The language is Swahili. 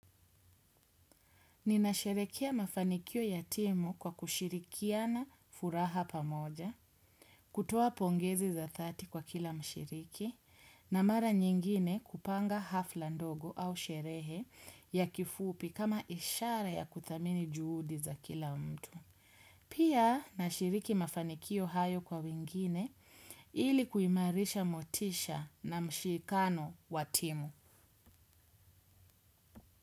Ninasherekea mafanikio ya timu kwa kushirikiana furaha pamoja, kutoa pongezi za thelathini kwa kila mshiriki, na mara nyingine kupanga hafla ndogo au sherehe ya kifupi kama ishara ya kuthamini juudi za kila mtu. Pia nashiriki mafanikio hayo kwa wingine ili kuimarisha motisha na mshikano wa timu.